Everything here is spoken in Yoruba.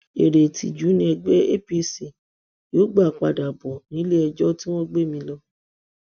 eré ìtìjú ni ẹgbẹ apc yóò gbà padà bọ níléẹjọ tí wọn gbé mi lọ